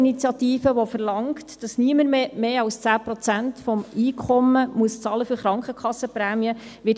Die SP-Initiative verlangt, dass niemand mehr als 10 Prozent des Einkommens für die Krankenkassenprämien bezahlen muss.